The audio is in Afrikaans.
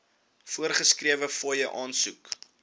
voorgeskrewe fooie aansoek